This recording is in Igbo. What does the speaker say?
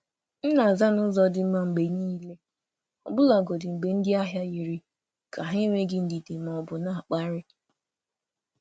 M na-aza n’ụzọ dị mma mgbe niile, ọbụlagodi mgbe ndị ahịa yiri ka ha enweghị ndidi ma ọ bụ na-akparị.